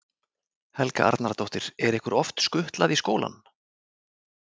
Helga Arnardóttir: Er ykkur oft skutlað í skólann?